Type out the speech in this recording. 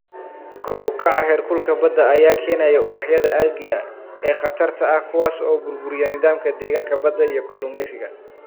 Kor u kaca heerkulka badda ayaa keenaya ubaxyada algae ee khatarta ah kuwaas oo burburiya nidaamka deegaanka badda iyo kalluumeysiga.